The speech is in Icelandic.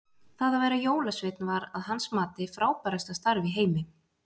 Það að vera jólasveinn var að hans mati, frábærasta starf í heimi.